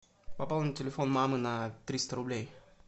пополнить телефон мамы на триста рублей